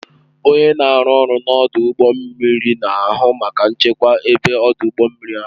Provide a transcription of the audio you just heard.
Onye na-arụ ọrụ n'ọdụ ụgbọ mmiri na-ahụ maka nchekwa ebe ọdụ ụgbọ mmiri ahụ